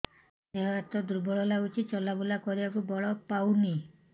ଦେହ ହାତ ଦୁର୍ବଳ ଲାଗୁଛି ଚଲାବୁଲା କରିବାକୁ ବଳ ପାଉନି